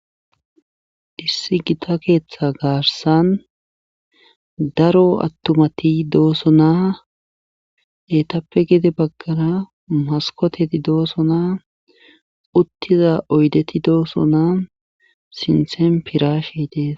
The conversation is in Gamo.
Issi gita keetha garssan daro attuanti doosona eetappe gede baggara maskkooteti doosona uttida oydeti doosona sinthen piraashey dees.